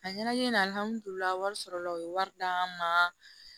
A ɲɛna e n alihamudulilayi wari sɔrɔla u ye wari d'an ma